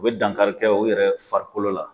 O be dankari kɛ o yɛrɛ farikolo la